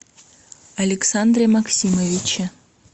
александре максимовиче